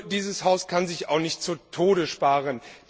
Nur, dieses Haus kann sich auch nicht zu Tode sparen.